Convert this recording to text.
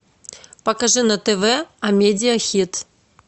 покажи на тв амедиа хит